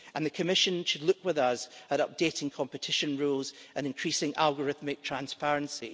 The Commission should look with us and updating competition rules and increasing algorithmic transparency.